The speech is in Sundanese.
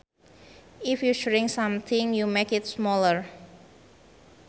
If you shrink something you make it smaller